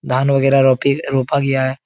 धान वगेरा रोपी रोपा गया है।